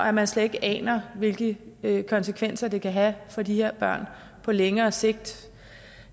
at man slet ikke aner hvilke konsekvenser det kan have for de her børn på længere sigt